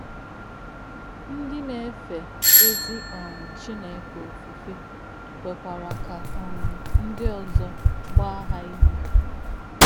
Ndí̄ nā̄-èfè ézì um Chīné̄kè̄ òfùfè̄ kwè̄kwà̄rà̄ kā̄ um ndí̄ ọ̀zọ́ gbá̄ hà̄ ìyì̄.